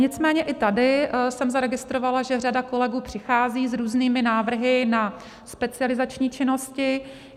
Nicméně i tady jsem zaregistrovala, že řada kolegů přichází s různými návrhy na specializační činnosti.